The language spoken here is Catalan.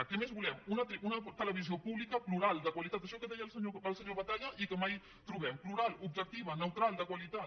què més volem una televisió pública plural de qualitat això que deia el senyor batalla i que mai trobem plural objectiva neutral de qualitat